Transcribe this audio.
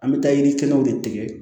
An bɛ taa yiri kelenw de tigɛ